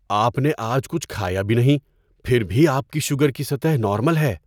آپ نے آج کچھ کھایا بھی نہیں، پھر بھی آپ کی شوگر کی سطح نارمل ہے!